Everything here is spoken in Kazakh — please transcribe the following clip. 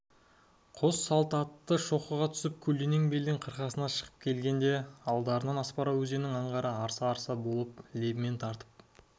қос салт атты шоқыға түсіп көлденең белдің қырқасына шыға келгенде алдарынан аспара өзенінің аңғары арса-арса болып лебімен тартып